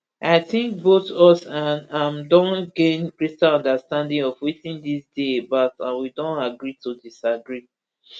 i think both us and am don gain greater understanding of wetin dis dey about and we don agree to disagree